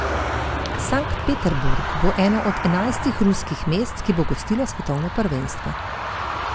Sankt Peterburg bo eno od enajstih ruskih mest, ki bo gostilo svetovno prvenstvo.